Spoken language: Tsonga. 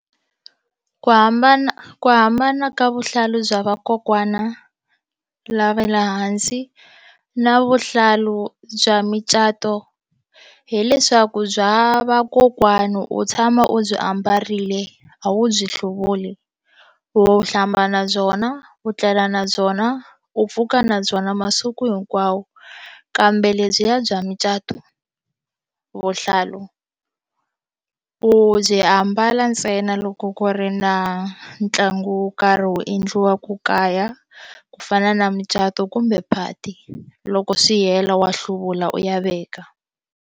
Ku hambana ku hambana ka vuhlalu bya vakokwana lava le hansi na vuhlalu bya micato hileswaku bya vakokwani u tshama u byi ambarile a wu byi hluvuli u hlamba na byona u tlela na byona u pfuka na byona masiku hinkwawo kambe lebyiya bya mucato vuhlalu u byi ambala ntsena loko ku ri na ntlangu wo karhi wu endliwaka kaya ku fana na mucato kumbe phati loko swi hela wa hluvula u ya veka.